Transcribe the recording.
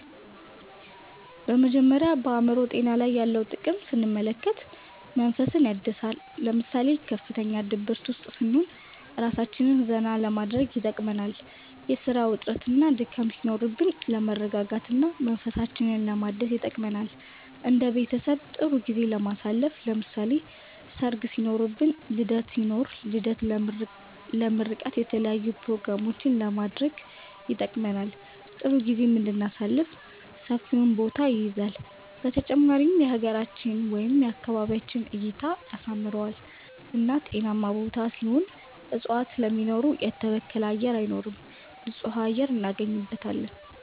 በመጀመሪያ በአእምሮ ጤና ላይ ያለውን ጥቅም ስንመለከት መንፈስን ያድሳል ለምሳሌ ከፍተኛ ድብርት ውስጥ ስንሆን እራሳችንን ዘና ለማድረግ ይጠቅመናል የስራ ውጥረትና ድካም ሲኖርብን ለመረጋጋት እና መንፈሳችንን ለማደስ ይጠቅመናል እንደ ቤተሰብ ጥሩ ጊዜ ለማሳለፍ ለምሳሌ ሰርግ ሲኖርብን ልደት ሲኖር ልደት ለምርቃት የተለያዪ ኘሮግራሞችንም ለማድረግ ይጠቅመናል ጥሩ ጊዜም እንድናሳልፍ ሰፊውን ቦታ ይይዛል በተጨማሪም የሀገራችንን ወይም የአካባቢያችንን እይታን ያሳምረዋል እና ጤናማ ቦታ ሲሆን እፅዋትን ስለሚኖሩ የተበከለ አየር አይኖርም ንፁህ አየር እናገኝበታለን